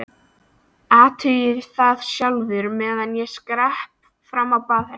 Athugaðu það sjálfur, meðan ég skrepp fram á baðherbergi